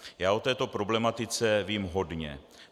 Já o této problematice vím hodně.